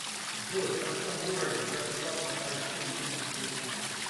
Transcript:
джой в каком городе в государство палестина меньше всего жителей